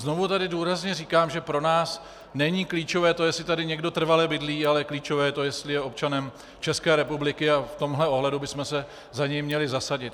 Znovu tady důrazně říkám, že pro nás není klíčové to, jestli tady někdo trvale bydlí, ale klíčové je to, jestli je občanem České republiky, a v tomto ohledu bychom se za něj měli zasadit.